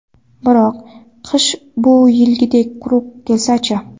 Biroq, qish bu yilgidek quruq kelsa-chi?